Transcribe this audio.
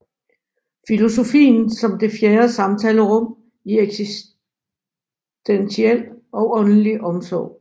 Filosofien som det fjerde samtalerum i eksistentiel og åndelig omsorg